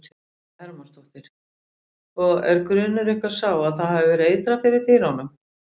Viktoría Hermannsdóttir: Og er grunur ykkar sá að það hafi verið eitrað fyrir dýrum?